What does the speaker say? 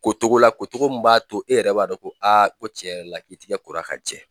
Ko cogo la, ko cogo min b'a to, e yɛrɛ b'a dɔn ko ko tiɲɛ yɛrɛ la k'i tigɛ kola ka jɛ.